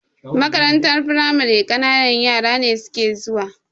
Makarantar firamare ƙananan yara ne suke zuwa.